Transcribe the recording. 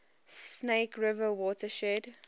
snake river watershed